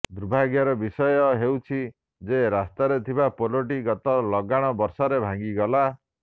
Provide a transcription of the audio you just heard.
ଦୁର୍ଭାଗ୍ୟର ବିଷୟ ହେଉଛି ଯେ ରାସ୍ତାରେ ଥିବା ପୋଲଟି ଗତ ଲଗାଣ ବର୍ଷାରେ ଭାଙ୍ଗିଗଲା